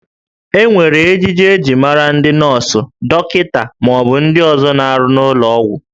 E nwere ejiji eji mara ndị nọọsụ, dọkịta, ma ọ bụ ndị ọzọ na-arụ n'ụlọ ọgwụ